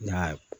N y'a